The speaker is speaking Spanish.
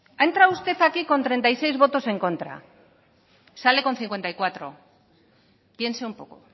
ha entrado usted aquí con treinta y seis votos en contra sale con cincuenta y cuatro piense un poco